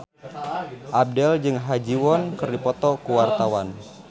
Abdel jeung Ha Ji Won keur dipoto ku wartawan